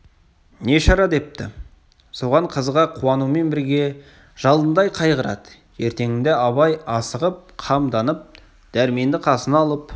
не шара депті соған қызыға қуанумен бірге жалындай қайғырады ертеңінде абай асығып қамданып дәрменді қасына алып